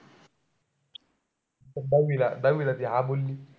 दहावीला दहावीला ती हा बोलली होती.